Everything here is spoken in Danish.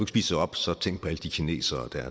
spiser op så tænk på alle de kinesere